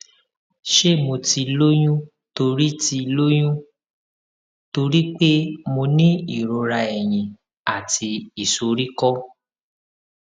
ṣé mo ti lóyún torí ti lóyún torí pé mo ní ìrora ẹyìn àti ìsoríkó